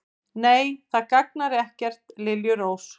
Nei, það gagnar ekkert, liljurós.